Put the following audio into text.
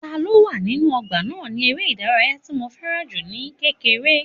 Ta ló wà nínú ọgbà náà ni eré ìdárayá tí mo fẹ́ràn jù ní kékeré